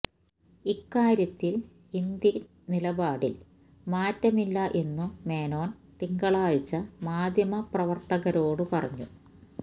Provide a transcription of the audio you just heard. ഇക്കാര്യത്തില് ഇന്ത്യന് നിലപാടില് മാറ്റമില്ല എന്നും മേനോന് തിങ്കളാഴ്ച മാധ്യമപ്രവര്ത്തകരോട് പറഞ്ഞു